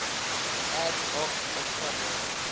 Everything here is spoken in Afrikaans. ad hoc opgradering